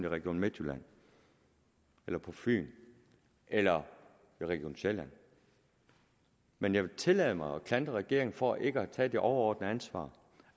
region midtjylland eller på fyn eller region sjælland men jeg vil tillade mig at klandre regeringen for ikke at tage det overordnede ansvar